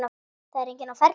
Það er enginn á ferli.